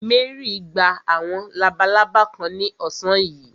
Mary gba àwọn labalábá kan ní ọ̀sán yìí.